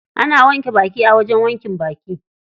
Ana wanke baki a wajen wankin baki.